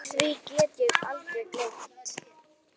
Því get ég aldrei gleymt.